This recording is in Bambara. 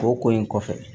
O ko in kɔfɛ